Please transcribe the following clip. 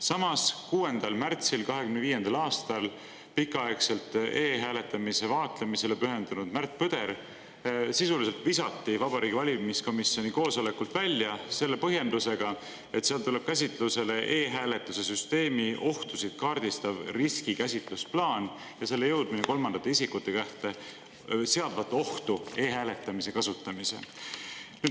Samas, 6. märtsil 2025. aastal pikaaegselt e-hääletamise vaatlemisele pühendunud Märt Põder sisuliselt visati Vabariigi Valimiskomisjoni koosolekult välja selle põhjendusega, et seal tuleb käsitlusele e-hääletuse süsteemi ohtusid kaardistav riskikäsitlusplaan ja selle jõudmine kolmandate isikute kätte seadvat ohtu e-hääletamise kasutamise.